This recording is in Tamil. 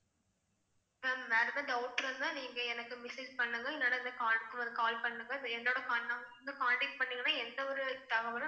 ma'am வேற ஏதாவது doubt இருந்தா நீங்க எனக்கு message பண்ணுங்க இல்லன்னா இந்த number க்கு call பண்ணுங்க. பண்ணிங்கன்னா எந்த ஒரு தகவலும்